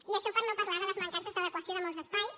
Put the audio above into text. i això per no parlar de les mancances d’adequació de molts espais